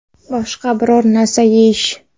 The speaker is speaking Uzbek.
Boshqa biror narsa yeyish.